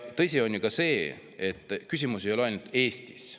Tõsi on ju ka see, et küsimus ei ole ainult Eestis.